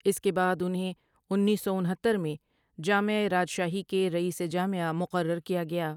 اس کے بعد انہیں انیسو سو انہتر میں جإمعہ راجشاہی کے رئیس جامعہ مقرر کیا گیا ۔